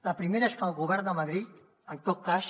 la primera és que el govern de madrid en tot cas